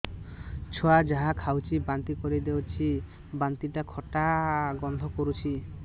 ଛୁଆ ଯାହା ଖାଉଛି ବାନ୍ତି କରିଦଉଛି ବାନ୍ତି ଟା ଖଟା ଗନ୍ଧ କରୁଛି